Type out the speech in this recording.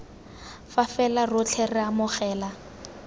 fa fela rotlhe re amogela